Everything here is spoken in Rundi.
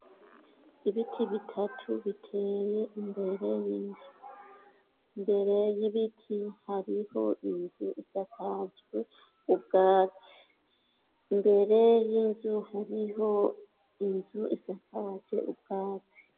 Ibiti bitatu biteye imbere y'inzu. Imbere y'ibiti hariho inzu isakajwe ubwatsi. Imbere y'inzu hariho inzu isakajwe ubwatsi.